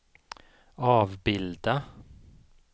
avbilda